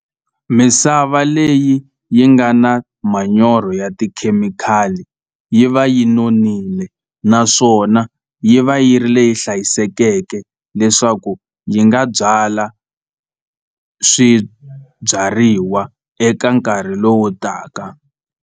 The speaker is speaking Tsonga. Misava leyi yi nga na manyoro ya tikhemikhali yi va yi nonile naswona yi va yi ri leyi hlayisekeke leswaku yi nga byala swibyariwa eka nkarhi lowu taka.